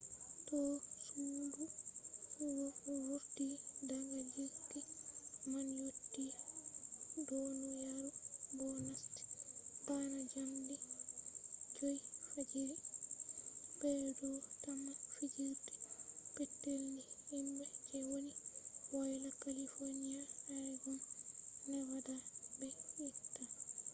to sudu vurti daga jirgi man yotti duniyaru bo nasti bana jamdi 5 fajiri wakkati fuuna be do tamma fijirde petel ni himbe je woni woyla california oregon nevada be utah